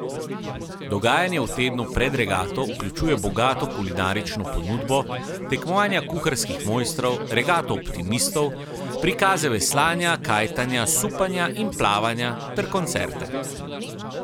Dogajanje v tednu pred regato vključuje bogato kulinarično ponudbo, tekmovanja kuharskih mojstrov, regato optimistov, prikaze veslanja, kajtanja, supanja in plavanja ter koncerte.